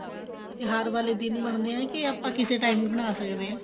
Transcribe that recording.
ਤਿਉਹਾਰ ਵਾਲੇ ਦਿਨ ਬਣਦੇ ਆ ਕੇ ਆਪਾਂ ਕਿਸੇ ਵੀ time ਬਣਾ ਸਕਦੇ ਹਾਂ